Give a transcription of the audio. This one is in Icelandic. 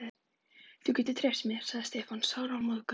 Þú getur treyst mér, sagði Stefán sármóðgaður.